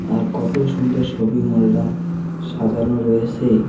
আর কত সুন্দর শপিং মলটা সাজানো রয়েসে।